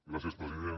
gràcies president